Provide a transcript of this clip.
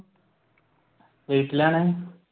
വീട്ടിലാണ്.